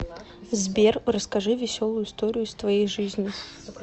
сбер расскажи веселую историю из твоей жизни